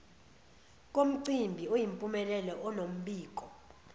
komcimbi oyimpumelelo onombiko